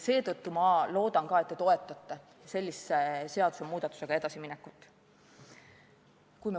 Seetõttu ma loodan, et te toetate sellise seadusemuudatusega edasiminekut.